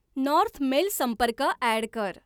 north mail संपर्क add कर